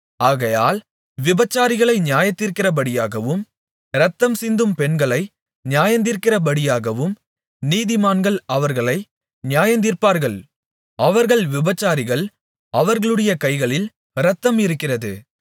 ஆகையால் விபசாரிகளை நியாயந்தீர்க்கிறபடியாகவும் இரத்தம்சிந்தும் பெண்களை நியாயந்தீர்க்கிறபடியாகவும் நீதிமான்கள் அவர்களை நியாயந்தீர்ப்பார்கள் அவர்கள் விபசாரிகள் அவர்களுடைய கைகளில் இரத்தம் இருக்கிறது